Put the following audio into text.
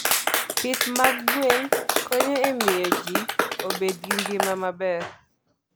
Pith mag gwen konyo e miyo ji obed gi ngima maber.